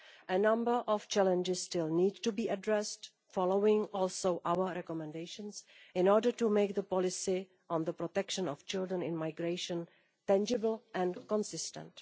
A number of challenges still need to be addressed, following also our recommendations, in order to make the policy on the protection of children in migration tangible and consistent.